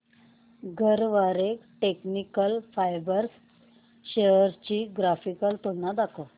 Garware technical fibres shares ची graphical तुलना दाखव